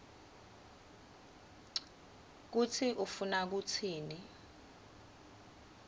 kutsi ufuna kutsini